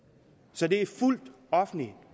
så det er fuldt offentligt